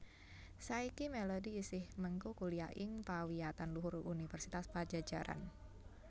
Saiki Melody isih mengku kuliah ing pawiyatan luhur Universitas Padjadjaran